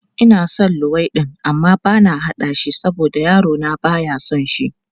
Ina son luwaiɗi amma bana haɗa shi saboda yarona ba ya son shi.